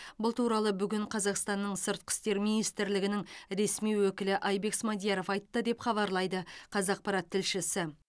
бұл туралы бүгін қазақстанның сыртқы істер министрлігінің ресми өкілі айбек смадияров айтты деп хабарлайды қазақпарат тілшісі